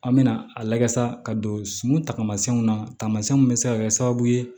An mɛna a layɛ sa ka don sun taamasiyɛnw na taamasiyɛn min bɛ se ka kɛ sababu ye